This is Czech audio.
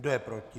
Kdo je proti?